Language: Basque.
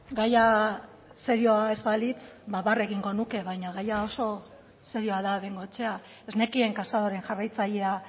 gaia serioa ez balitz ba barre egingo nuke baina gaia oso serioa da bengoechea ez nekien casadoren jarraitzailea